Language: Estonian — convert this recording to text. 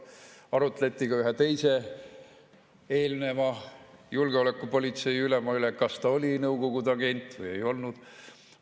Arutleti ka ühe teise, eelneva julgeolekupolitsei ülema üle, et kas ta oli Nõukogude agent või ei olnud.